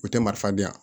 O tɛ marifa di yan